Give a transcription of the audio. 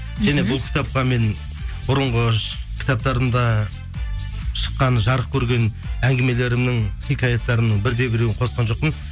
және бұл кітапқа мен бұрынғы кітаптарымда шыққан жарық көрген әңгімелерімнің хикаяттарымның бір де біреуін қосқан жоқпын